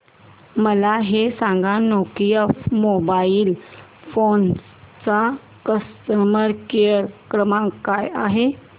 मला हे सांग नोकिया मोबाईल फोन्स चा कस्टमर केअर क्रमांक काय आहे